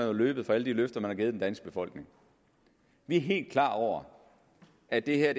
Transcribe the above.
jo løbet fra alle de løfter man har givet den danske befolkning vi er helt klar over at det her